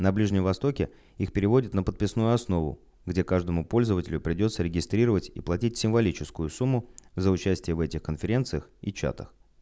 на ближнем востоке их переводят на подписную основу где каждому пользователю придётся регистрировать и платить символическую сумму за участие в этих конференциях и чатах